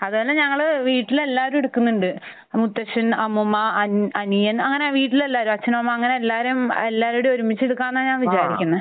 അതുമല്ല ഞങ്ങൾ വീട്ടിൽ എല്ലാവരും എടുക്കുന്നുണ്ട്. മുത്തശ്ശൻ, അമ്മൂമ്മ, അൻ...അനിയൻ അങ്ങനെ വീട്ടിൽ എല്ലാവരും. അച്ഛൻ, അമ്മ അങ്ങനെ എല്ലാവരും. എല്ലാവരും കൂടെ ഒരുമിച്ച് എടുക്കാമെന്നാണ് ഞാൻ വിചാരിക്കുന്നത്.